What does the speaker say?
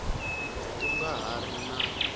ku nga ha ri na